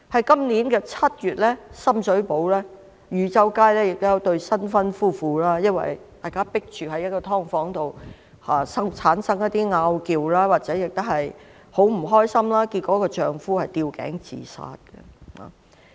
今年7月，深水埗汝州街有一對新婚夫婦，因為住在"劏房"，生活空間有限，產生爭拗，很不開心，結果丈夫吊頸自殺。